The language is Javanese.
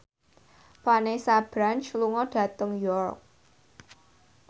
Vanessa Branch lunga dhateng York